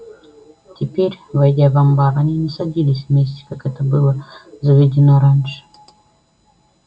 теперь войдя в амбар они не садились вместе как это было заведено раньше